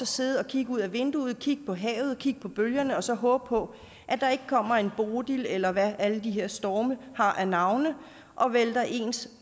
sidde og kigge ud ad vinduet kigge på havet kigge på bølgerne og så håbe på at der ikke kommer en bodil eller hvad alle de her storme har af navne og vælter ens